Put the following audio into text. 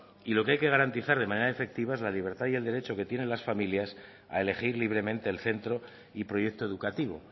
y lo que hay que garantizar de manera efectiva es la libertad y el derecho que tienen las familias a elegir libremente el centro y proyecto educativo